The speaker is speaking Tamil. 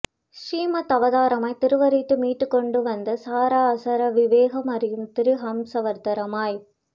ஸ்ரீ மத்ஸ்யாவதாரமாய் திருவவதரித்து மீட்டுக் கொண்டு வந்து சார அசார விவேகம் அறியும் திரு ஹம்ஸாவதாரமாய்